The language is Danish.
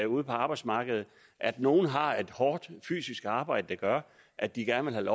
ude på arbejdsmarkedet at nogle har et hårdt fysisk arbejde der gør at de gerne vil